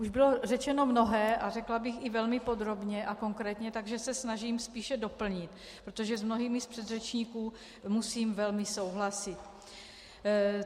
Už bylo řečeno mnohé a řekla bych i velmi podrobně a konkrétně, takže se snažím spíše doplnit, protože s mnohými z předřečníků musím velmi souhlasit.